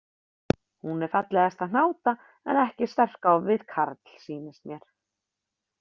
Hún er fallegasta hnáta en ekki sterk á við karl, sýnist mér.